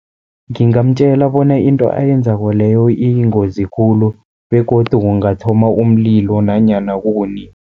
Ngingamtjela bona into ayenzako leyo iyingozi khulu begodu kungathoma umlilo nanyana kukunini.